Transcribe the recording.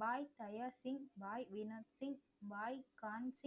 பாய் Daya Singh, Bhai Veena Singh, Bhai Kahn Singh